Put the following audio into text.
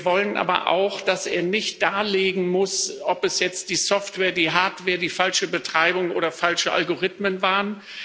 Wir wollen aber auch, dass er nicht darlegen muss, ob es jetzt die Software, die Hardware, die falsche Betreibung oder falsche Algorithmen waren.